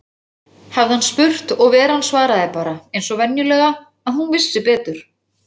hafði hann spurt, og Veran svaraði bara, eins og venjulega, að hún vissi betur.